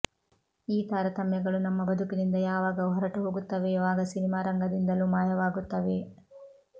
ಈ ತಾರತಮ್ಯಗಳು ನಮ್ಮ ಬದುಕಿನಿಂದ ಯಾವಾಗ ಹೊರಟುಹೋಗುತ್ತವೆಯೋ ಆಗ ಸಿನಿಮಾರಂಗದಿಂದಲೂ ಮಾಯವಾಗುತ್ತವೆ